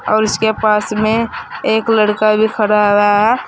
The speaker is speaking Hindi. और इसके पास में एक लड़का भी खड़ा हुआ है।